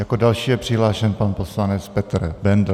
Jako další je přihlášen pan poslanec Petr Bendl.